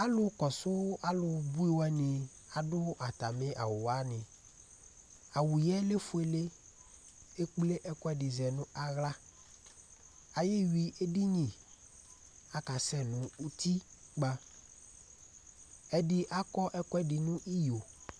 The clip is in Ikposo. Alu kɔsu alubʋi wani adu atami awu wani Awu yɛ lefʋele Ekple ɛkʋɛdi zɛ nʋ aɣla Ayewi edini Atani akasɛ nʋ ʋtikpa Ɛdí akɔ ɛkʋɛdi nʋ iyo